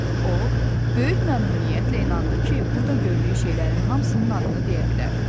O, böyük məmnuniyyətlə inandı ki, burada gördüyü şeylərin hamısının adını deyə bilər.